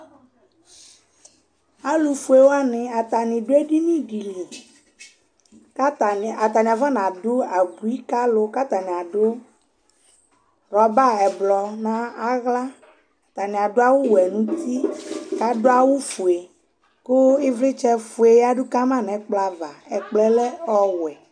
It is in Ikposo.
alu fue wʋani ata ni du edini di li k'ata mí ni , ata ni afɔ n'adu abui k'alu ku ata ni adu rɔba ɛblɔ n'aɣla , ata ni adu awu wɛ n'uti , kadu awu fue ku ivlitsɛ fue yadu kama nu ɛkplɔ ava, ɛkplɔɛ lɛ ɔwɛ